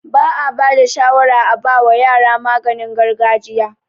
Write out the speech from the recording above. Ba'a bada shawara a bawa yara maganin gargajiya